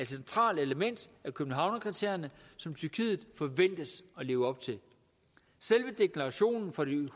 centralt element i københavnerkriterierne som tyrkiet forventes at leve op til selve deklarationen fra de